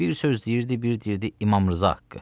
Bir söz deyirdi, bir deyirdi İmam Rza haqqı.